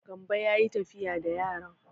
Gambo ya yi tafiya da yaran.